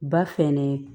Ba fɛnɛ